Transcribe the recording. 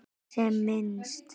Geri sem minnst.